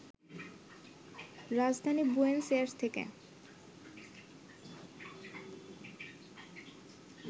রাজধানী Buenos Aires থেকে